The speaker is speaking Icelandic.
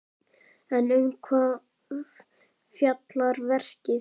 En um hvað fjallar verkið?